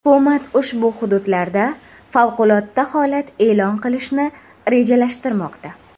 Hukumat ushbu hududlarda favqulodda holat e’lon qilishni rejalashtirmoqda.